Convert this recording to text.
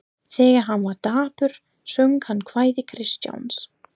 Þegar hann var dapur söng hann kvæði Kristjáns